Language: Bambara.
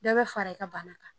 Dɔ bɛ fara i ka bana kan